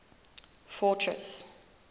fortress